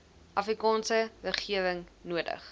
afrikaanse regering nodig